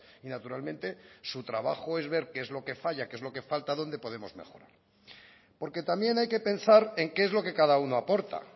y naturalmente su trabajo es ver qué es lo que falla qué es lo que falta dónde podemos mejorar porque también hay que pensar en qué es lo que cada uno aporta